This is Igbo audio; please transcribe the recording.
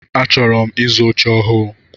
Achọrọ m ịzụ oche ọhụụ.